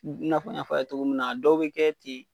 I n'a fɔ an ya fɔ a ye cogo min na , dɔw be kɛ ten